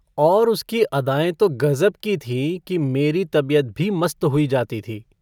और उसकी अदाएँ तो गजब की थीं कि मेरी तबीयत भी मस्त हुई जाती थी।